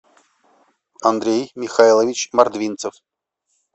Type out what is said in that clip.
андрей михайлович мордвинцев